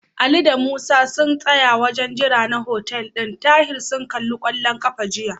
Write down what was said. Ali da Musa sun tsaya a wajen jira na hotel ɗin Tahir sun kalli kwallon ƙafa jiya.